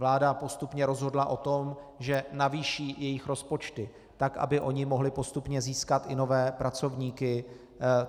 Vláda postupně rozhodla o tom, že navýší jejich rozpočty tak, aby ony mohli postupně získat i nové pracovníky.